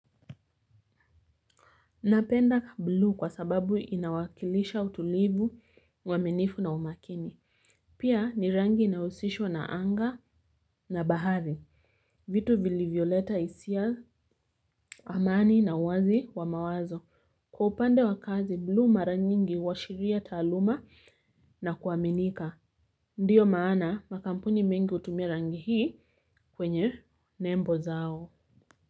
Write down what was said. Napenda bluu kwa sababu inawakilisha utulivu uaminifu na umakini. Pia ni rangi inaohusishwa na anga na bahari. Vitu vilivyoleta hisia amani na uwazi wa mawazo. Kwa upande wa kazi, bluu mara nyingi huashiria taaluma na kuaminika. Ndiyo maana makampuni mengi hutumia rangi hii kwenye nembo zao.